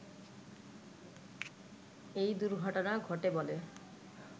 এই দুর্ঘটনা ঘটে বলে